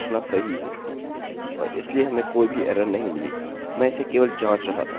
चलिए alex garrett लिखते हैं और हम get data पर क्लिक करते हैं